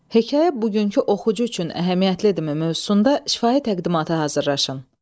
Hekayə bugünkü oxucu üçün əhəmiyyətlidirmi mövzusunda şifahi təqdimata hazırlaşın.